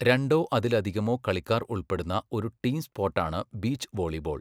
രണ്ടോ അതിലധികമോ കളിക്കാർ ഉൾപ്പെടുന്ന ഒരു ടീം സ്പോർട്ടാണ് ബീച്ച് വോളിബോൾ.